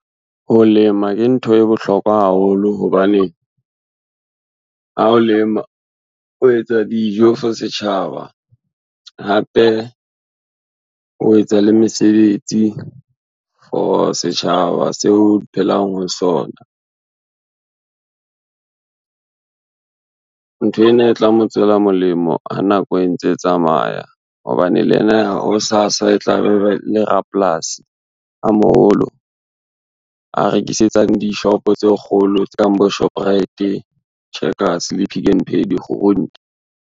Ho lema ke ntho e bohlokwa haholo hobane, ha o lema o etsa dijo for setjhaba hape o etsa le mesebetsi for setjhaba se o phelang ho sona. Nthwena e tla mo tswela molemo ha nako e ntse e tsamaya hobane le ena hosasa e tla be le rapolasi a moholo, a rekisetsang dishopo tse kgolo tse kang bo Shoprite. Checkers le Pick n Pay dikgurunte.